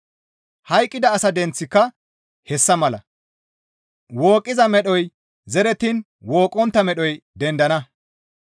Hayqqida asa denththika hessa mala; wooqqiza medhoy zerettiin wooqqontta medhoy dendana.